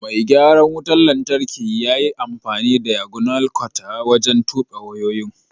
Mai garan wutan lantarki ƴa ƴi amfani da "diagonal cutter" wajen tube wayoyin.